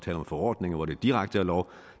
nogle forordninger hvor det er direkte lov